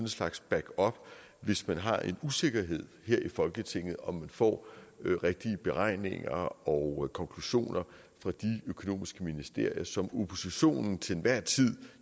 slags backup hvis man har en usikkerhed her i folketinget om om vi får de rigtige beregninger og konklusioner fra de økonomiske ministerier som oppositionen til enhver tid